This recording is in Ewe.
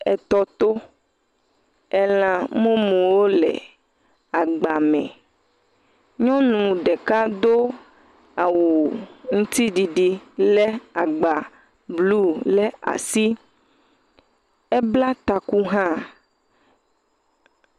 Etɔ to, elã mumuwo le agba me, nyɔnu ɖeka do awu ŋutiɖiɖi lé agba blu ɖe asi, ebla taku hã.